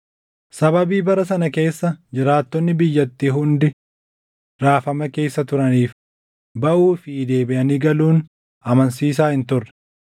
Sababii bara sana keessa jiraattonni biyyattii hundi raafama keessa turaniif baʼuu fi deebiʼanii galuun amansiisaa hin turre.